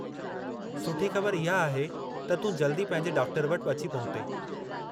सुठी ख़बरु इहा आहे त तूं जल्दी पंहिंजे डॉक्टर वटि अची पहुते।